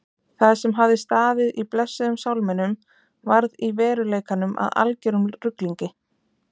Það sem hafði staðið í blessuðum sálminum varð í veruleikanum að algerum ruglingi.